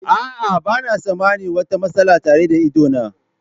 A'a, ba na tsammanin wata matsala tare da idona.